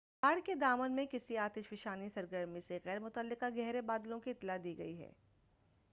پہاڑ کے دامن میں کسی آتش فشانی سرگرمی سے غیر متعلقہ گہرے بادلوں کی اطلاع دی گئی